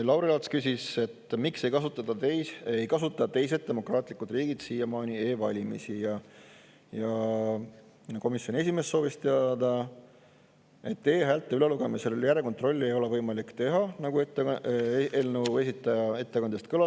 Lauri Laats küsis, miks ei kasuta teised demokraatlikud riigid siiamaani e-valimisi, ja komisjoni esimees viitas, et e-häälte ülelugemisel järelkontrolli ei ole võimalik teha, nagu eelnõu esitaja ettekandes kõlas.